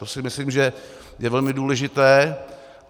To si myslím, že je velmi důležité.